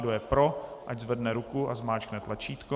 Kdo je pro, ať zvedne ruku a zmáčkne tlačítko.